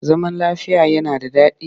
Zaman lafiya yana da daɗi